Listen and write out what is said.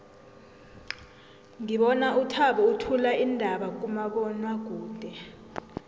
ngibona uthabo uthula iindaba kumabonwakude